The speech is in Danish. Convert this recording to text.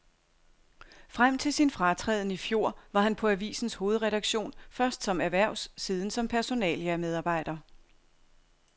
Frem til sin fratræden i fjor var han på avisens hovedredaktion, først som erhvervs, siden som personalia medarbejder.